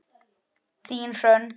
Þín, Hrönn.